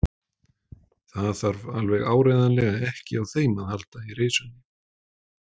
Þarf alveg áreiðanlega ekki á þeim að halda í reisunni.